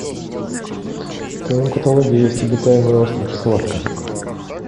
в твоем каталоге есть обитаемый остров схватка